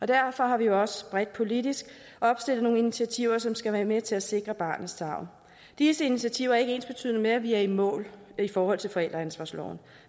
derfor har vi også bredt politisk opstillet nogle initiativer som skal være med til at sikre barnets tarv disse initiativer er ikke ensbetydende med at vi er i mål i forhold til forældreansvarsloven